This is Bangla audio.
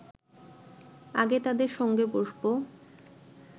আগে তাদের সঙ্গে বসব